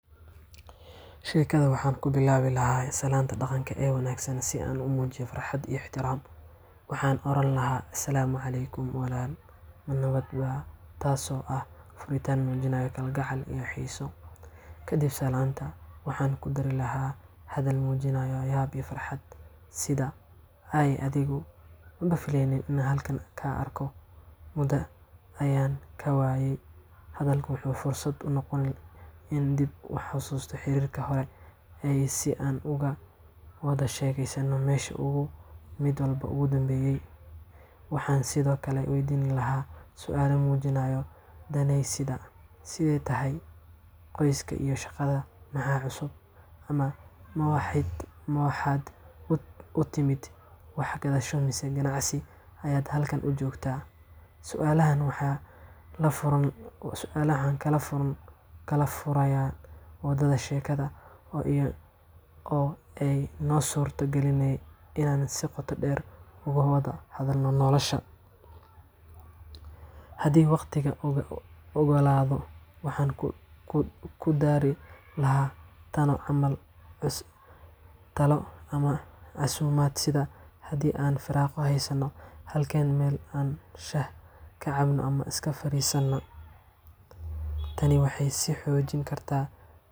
Sheekada waxaan ku bilaabi lahaa salaanta dhaqanka ee wanaagsan si aan u muujiyo farxadda iyo ixtiraamka. Waxaan oran lahaa, “Asalaamu calaykum, walaal? Ma nabad baa?” Taasoo ah furitaan muujinaya kalgacal iyo xiiso. Kadib salaanta, waxaan ku dari lahaa hadal muujinaya yaab iyo farxad sida, “Aaway adigu! Maba filayn inaan halkan kaa arko. Muddo ayaan kaa waayey.” Hadalkan wuxuu fursad u noqonayaa inaan dib u xasuusano xiriirkii hore iyo si aan uga wada sheekaysanno meesha uu mid walba ku dambeeyay. Waxaan sidoo kale weydiin lahaa su’aalo muujinaya danayn sida, “Sidee tahay? Qoyska iyo shaqada maxaa cusub?” ama “Ma waxaad u timid wax gadasho mise ganacsi ayaad halkan u joogtaa?” Su’aalahan waxay kala furayaan wadada sheekada oo ay noo suurto galinayaan inaan si qoto dheer ugu wada hadalno nolosha. Haddii waqtigu oggolaado, waxaan ku dari lahaa talo ama casuumaad, sida, “Haddii aan firaaqo haysanno, halkaan meel aan shaah ka cabno ma iska fariisanaa?” Tani waxay sii xoojin kartaa.